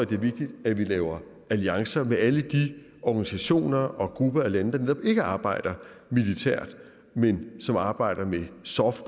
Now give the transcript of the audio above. det er vigtigt at vi laver alliancer med alle de organisationer og grupper af lande der netop ikke arbejder militært men som arbejder med soft